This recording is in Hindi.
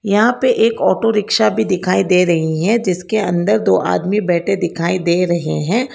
यहां पे एक ऑटो रिक्शा भी दिखाई दे रही है। जिसके अंदर दो आदमी बैठे दिखाई दे रहे हैं।